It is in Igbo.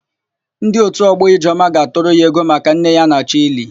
Ndị òtù ọgbọ Ijeọma ga-atụrụ ya ego maka nne ya a na-achọ ili.